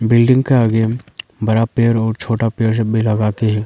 Building का आगे बड़ा पेड़ और छोटा पेड़ सब भी लगा के है।